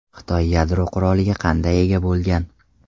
Xitoy yadro quroliga qanday ega bo‘lgan?